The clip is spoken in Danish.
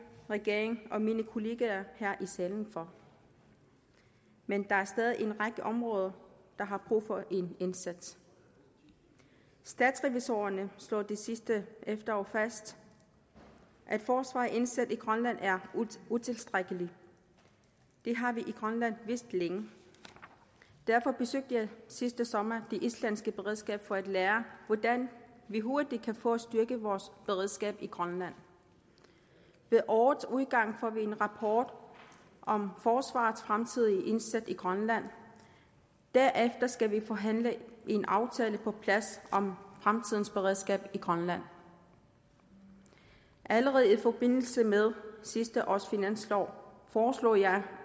regeringen og mine kollegaer her i salen for men der er stadig en række områder der har brug for en indsats statsrevisorerne slog sidste efterår fast at forsvaret indsat i grønland er utilstrækkeligt det har vi i grønland vidst længe derfor besøgte jeg sidste sommer det islandske beredskab for at lære hvordan vi hurtigt kan få styrket vores beredskab i grønland ved årets udgang får vi en rapport om forsvarets fremtidige indsats i grønland og derefter skal vi forhandle en aftale på plads om fremtidens beredskab i grønland allerede i forbindelse med sidste års finanslov foreslog jeg